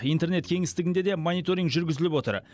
интернет кеңістігінде де мониторинг жүргізіліп отыр